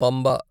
Pamba